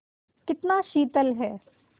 कितना शीतल है